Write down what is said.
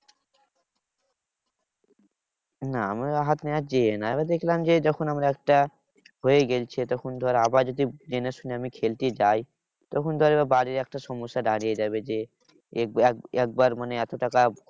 না আমার হাত আমি দেখলাম যে যখন আমার একটা হয়ে গেছে তখন ধর আবার যদি জেনেশুনে আমি খেলতে যাই। তখন ধর এবার বাড়ির একটা সমস্যা দাঁড়িয়ে যাবে। যে এক~ একবার মানে এত টাকা